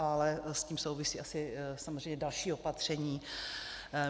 Ale s tím souvisí asi samozřejmě další opatření.